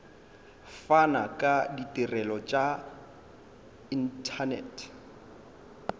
fana ka ditirelo tša inthanete